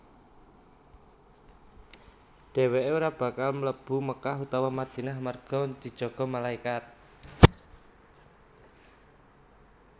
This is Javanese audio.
Dhèwèké ora bakal mlebu Makkah utawa Madinah amarga dijaga malaikat